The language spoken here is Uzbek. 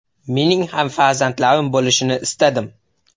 Mening ham farzandlarim bo‘lishini istadim.